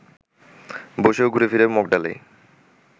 বসেও ঘুরেফিরে মগডালেই